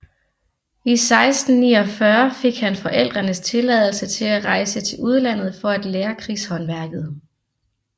I 1649 fik han forældrenes tilladelse til at rejse til udlandet for at lære krigshåndværket